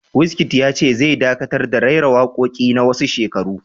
Wizkid ya ce zai dakatar da raira waƙoƙin na wasu shekaru